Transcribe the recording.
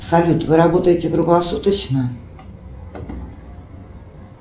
салют вы работаете круглосуточно